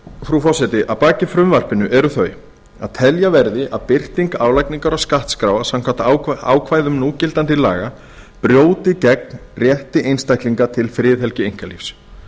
frú forseti að baki frumvarpinu eru þau að telja verði að birting álagningar og skattskráa samkvæmt ákvæðum núgildandi laga brjóti gegn rétti einstaklinga til friðhelgi einkalífs